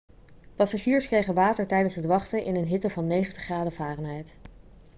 passagiers kregen water tijdens het wachten in een hitte van 90 graden fahrenheit